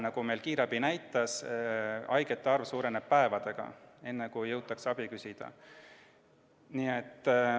Nagu meil kiirabi näitas, suureneb haigete arv päevadega – enne, kui jõutakse abi küsida.